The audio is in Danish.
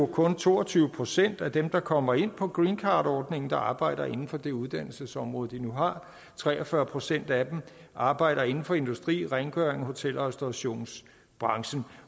kun er to og tyve procent af dem der kommer ind på greencardordningen der arbejder inden for det uddannelsesområde de nu har tre og fyrre procent af dem arbejder inden for industri rengøring hotel og restaurationsbranchen